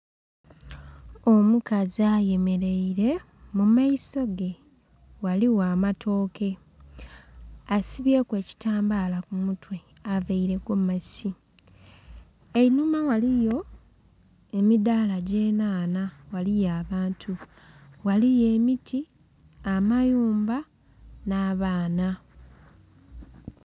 Omukazi ayemereire, mumaisoge ghaligho amatoke, asibyeku ebitambala ku mutwe avaire egomasi. Einhuma ghaligho emidhala gye nhanha ghaliyo abantu. Ghaliyo emiti, amayumba nha baana.